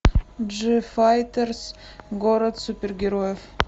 джифайтерс город супергероев